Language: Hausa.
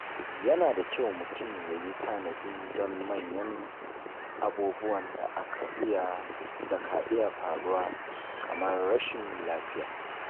Yana da kyau mutum yayi tanadi don manyan abubuwan da ka iya faruwa kamar rashin lafiya.